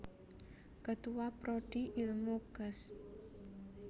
Ketua Prodi Ilmu Kesj